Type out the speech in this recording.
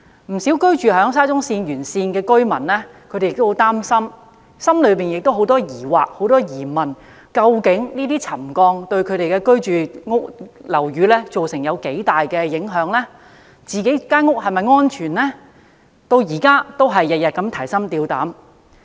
不少居住在沙中線沿線的居民也很擔心，內心充滿疑問，擔心這些沉降會否對他們居住的樓宇造成影響，他們的樓宇是否安全等，他們至今仍然每天提心吊膽。